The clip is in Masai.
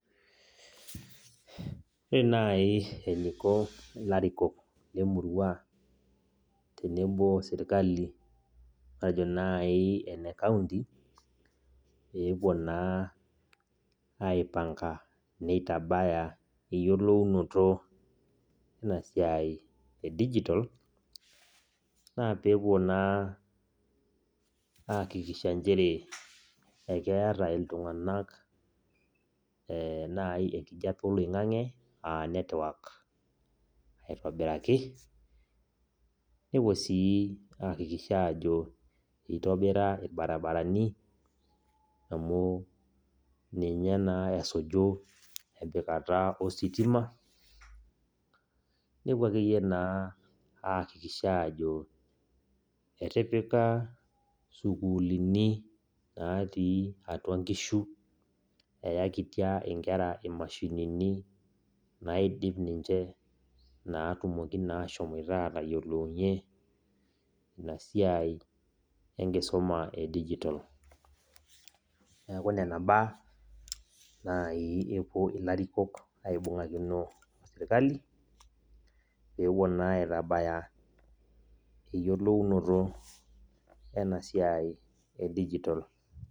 Ore nai eniko larikok lemurua tenebo sirkali matejo nai ene kaunti, pepuo naa aipanka neitabaya eyiolounoto enasiai edijitol, naa pepuo naa aakikisha njere ekeeta iltung'anak nai enkijape oloing'ang'e, ah netwak aitobiraki, nepuo si aakikisha ajo itobira irbarabarani, amu ninye naa esuju empikata ositima, nepuo akeyie naa aakikisha ajo etipika sukuulini natii atua nkishu eyakitia inkera imashinini naidip ninche, natumoki naa ashomoita atayiolounye inasiai enkisuma edijitol. Neeku nena imbaa, nai epuo ilarikok aibung'akino osirkali, pepuo naa aitabaya eyiolounoto enasiai edijitol.